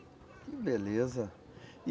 Que beleza.